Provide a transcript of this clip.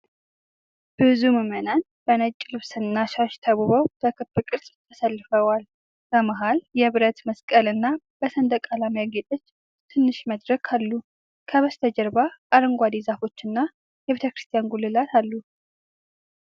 ብዙ ምዕመናን በነጭ ልብስና ሻሽ ተውበው በክብ ቅርጽ ተሰልፈዋል። በመሃል የብረት መስቀል እና በሰንደቅ ዓላማ ያጌጠች ትንሽ መድረክ አሉ። ከበስተጀርባ አረንጓዴ ዛፎችና የቤተክርስቲያን ጉልላት አሉ።